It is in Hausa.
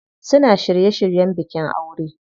Suna shirye shiryen bikin aure.